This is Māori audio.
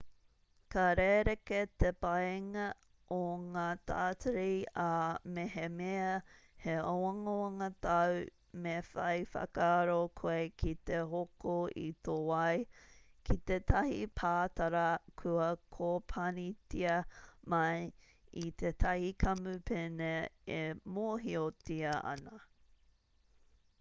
ka rerekē te painga o ngā tātari ā mehemea he āwangawanga tāu me whai whakaaro koe ki te hoko i tō wai ki tētahi pātara kua kōpanitia mai i tētahi kamupene e mōhiotia ana